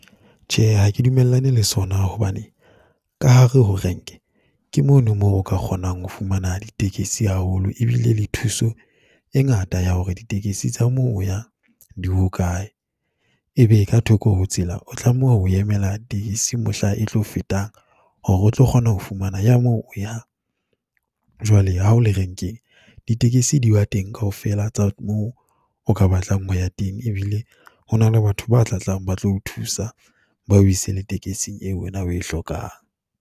Tjhe, ha ke dumellane le sona hobane ka hare ho renke, ke mono mo o ka kgonang ho fumana ditekesi haholo e bile le thuso e ngata ya hore ditekesi tsa mo o yang di hokae. E be ka thoko ho tshela, o tlameha ho emela tekesi mohla e tlo fetang, hore o tlo kgona ho fumana ya mo o yang. Jwale ha o le renkeng diyekesi di ba teng kaofela tsa moo o ka batlang ho ya teng, e bile ho na le batho ba tla tlang ba tlo o thusa, ba o ise le tekesing eo wena o e hlokang.